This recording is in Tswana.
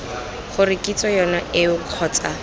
gore kitso yone eo kgotsa